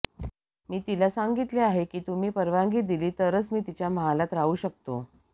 मी तिला सांगितले आहे की तुम्ही परवानगी दिलीत तरच मी तिच्या महालात राहू शकतो